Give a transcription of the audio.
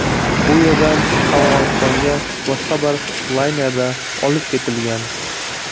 Bu yerdan Afg‘onistonga boshqa bir laynerda olib ketilgan.